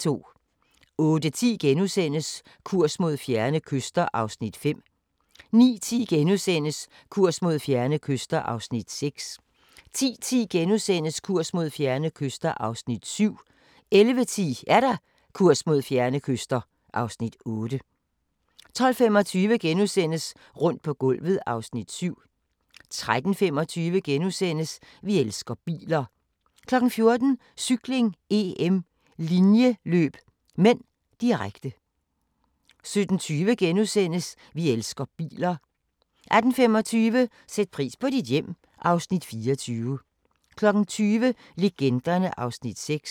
08:10: Kurs mod fjerne kyster (Afs. 5)* 09:10: Kurs mod fjerne kyster (Afs. 6)* 10:10: Kurs mod fjerne kyster (Afs. 7)* 11:10: Kurs mod fjerne kyster (Afs. 8) 12:25: Rundt på gulvet (Afs. 7)* 13:25: Vi elsker biler * 14:00: Cykling: EM - linjeløb (m), direkte 17:20: Vi elsker biler * 18:25: Sæt pris på dit hjem (Afs. 24) 20:00: Legenderne (Afs. 6)